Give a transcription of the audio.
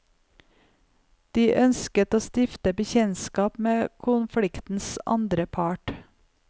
De ønsket å stifte bekjentskap med konfliktens andre part.